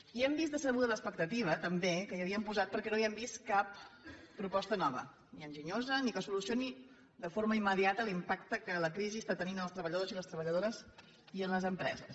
i hem vist decebuda l’expectativa també que hi havien posat perquè no hi hem vist cap proposta nova ni enginyosa ni que solucioni de forma immediata l’impacte que la crisi està tenint en els treballadors i les treballadores i en les empreses